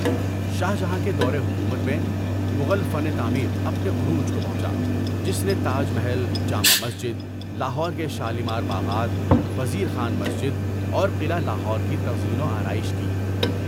شاہ جہاں کے دور حکومت میں مغل فن تعمیر اپنے عروج کو پہنچا، جس نے تاج محل، جامع مسجد، لاہور کے شالیمار باغات، وزیر خان مسجد، اور قلعہ لاہور کی تزئین و آرائش کی۔